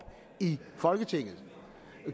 i folketinget